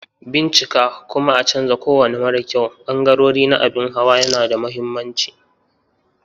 Bincika kuma a canza kowane mara kyau ɓangarori na abin hawa yana da mahimmanci.